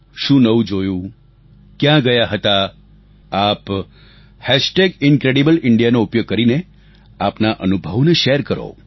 શું નવું જોયું ક્યાં ગયા હતા આપ હેશટેગ ઈનક્રેડિબલ ઈન્ડિયા નો ઉપયોગ કરીને આપના અનુભવોને શેર કરો